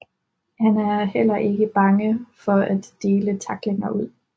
Han er heller ikke bange for at dele tacklinger ud